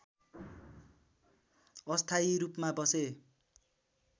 अस्थायी रूपमा बसे